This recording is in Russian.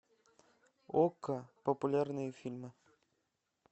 окко популярные фильмы